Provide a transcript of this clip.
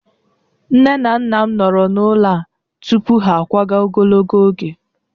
Nne na nna m nọrọ n'ụlọ a tupu ha akwaga ogologo oge